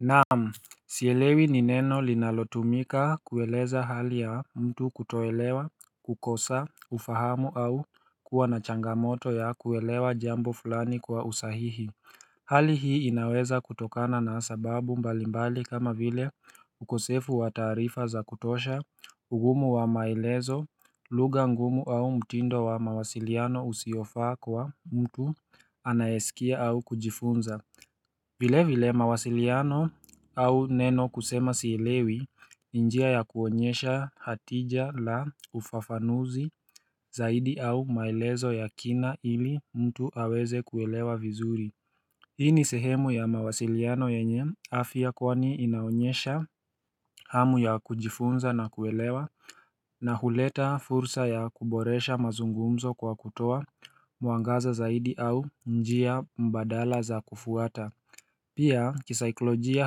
Naam, sielewi nineno linalotumika kueleza hali ya mtu kutoelewa, kukosa, kufahamu au kuwa na changamoto ya kuelewa jambo fulani kwa usahihi Hali hii inaweza kutokana na sababu mbalimbali kama vile ukosefu wa taarifa za kutosha, ugumu wa maelezo, lugha ngumu au mtindo wa mawasiliano usiofaa kwa mtu anayeskia au kujifunza vile vile mawasiliano au neno kusema sielewi ni njia ya kuonyesha hatija la ufafanuzi zaidi au maelezo ya kina ili mtu aweze kuelewa vizuri Hii ni sehemu ya mawasiliano yenye afya kwani inaonyesha hamu ya kujifunza na kuelewa na huleta fursa ya kuboresha mazungumzo kwa kutoa muangaza zaidi au njia mbadala za kufuata Pia kisaiklojia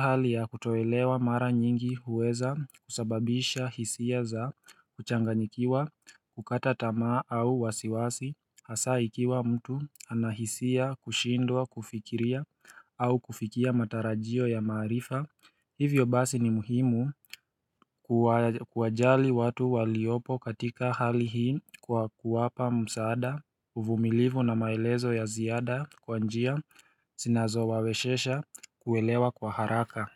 hali ya kutoelewa mara nyingi huweza kusababisha hisia za kuchanganyikiwa kukata tamaa au wasiwasi hasaikiwa mtu anahisia kushindwa kufikiria au kufikia matarajio ya maarifa hivyo basi ni muhimu kuwa kuwajali watu waliopo katika hali hii kwa kuwapa msaada uvumilivu na maelezo ya ziada kwa njia sinazowa weshesha kuelewa kwa haraka.